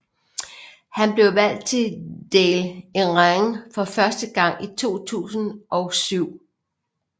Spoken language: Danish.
Han blev valgt til Dáil Éireann for første gang i 2007